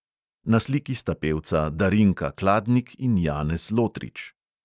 Na sliki sta pevca darinka kladnik in janez lotrič.